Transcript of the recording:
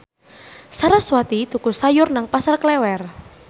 sarasvati tuku sayur nang Pasar Klewer